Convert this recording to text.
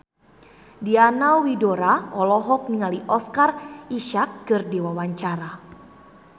Diana Widoera olohok ningali Oscar Isaac keur diwawancara